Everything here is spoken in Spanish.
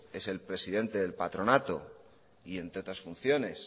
es el presidente del patronato y entre otras funciones